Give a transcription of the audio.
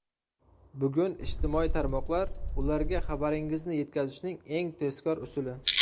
Bugun ijtimoiy tarmoqlar ularga xabaringizni yetkazishning eng tezkor usuli.